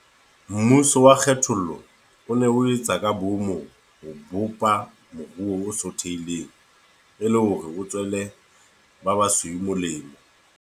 Mmuso wa kgethollo o ne o ho etse ka boomo ho bopa moruo o sothehileng, e le hore o tswele ba basweu molemo.